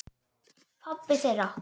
Pabbi þeirra?